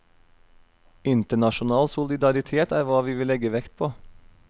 Internasjonal solidaritet er hva vi vil legge vekt på.